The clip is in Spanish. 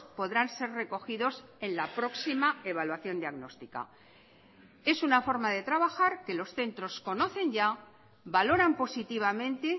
podrán ser recogidos en la próxima evaluación diagnóstica es una forma de trabajar que los centros conocen ya valoran positivamente